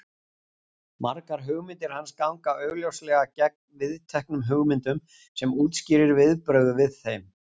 Margar hugmyndir hans ganga augljóslega gegn viðteknum hugmyndum sem útskýrir viðbrögðin við þeim.